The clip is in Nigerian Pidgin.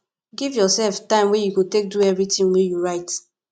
give yourself time wey you go take do everything wey you write